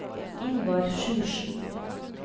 Ingvar Sjursen